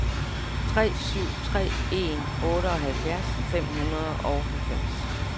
tre syv tre en otteoghalvfjerds fem hundrede og halvfems